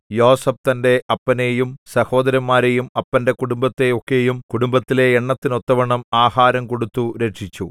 യോസേഫ് തന്റെ അപ്പനെയും സഹോദരന്മാരെയും അപ്പന്റെ കുടുംബത്തെ ഒക്കെയും കുടുംബത്തിലെ എണ്ണത്തിന് ഒത്തവണ്ണം ആഹാരം കൊടുത്തു രക്ഷിച്ചു